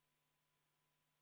Aitäh, lugupeetud istungi juhataja!